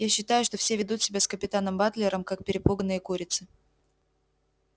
я считаю что все ведут себя с капитаном батлером как перепуганные курицы